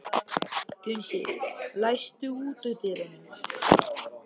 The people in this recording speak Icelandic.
Gunnsi, læstu útidyrunum.